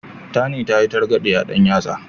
Tani ta yi targaɗe a ɗan yatsa.